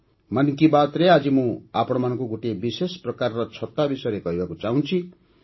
'ମନ୍ କି ବାତ୍'ରେ ଆଜି ମୁଁ ଆପଣମାନଙ୍କୁ ଗୋଟିଏ ବିଶେଷ ପ୍ରକାର ଛତା ବିଷୟରେ କହିବାକୁ ଚାହୁଁଛି